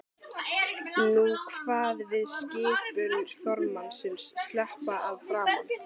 Nú kvað við skipun formannsins: Sleppa að framan!